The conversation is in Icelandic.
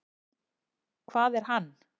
Hvað er hann?